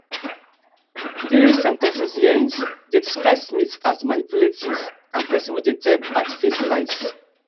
during sen ten cing hearings dem describe smith as manipulative and pesin wey dey tell baldfaced lies